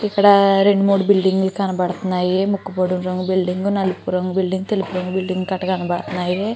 ఇక్కడ రెండు మూడు బిల్డింగులు కనబడుతున్నాయి ముక్కు పొడుము రంగు బిల్డింగు నలుపు రంగు బిల్డింగు తెలుపు రంగు బిల్డింగు కట్ట కనపడుతున్నాయి.